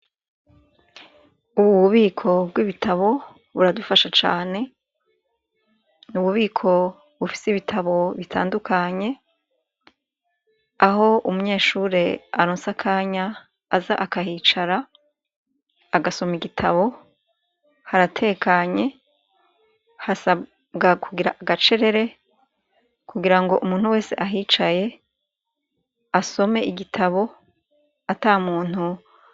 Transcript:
Ububiko bwibitabo buradufasha cane nububiko bufise ibitabo bitandukanye aho umunyeshure aronse akanya aza akahicara agasoma igitabo haratekanye hasabwa kugira agacerere kugira ngo umuntu wese ahicaye asome igitabo atamuntu